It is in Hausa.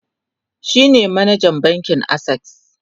shine manajan bankin akses